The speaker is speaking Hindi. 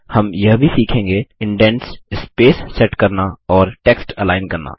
हम यह भी सीखेंगे इंडेंट्स स्पेस सेट करना और टेक्स्ट अलाइन करना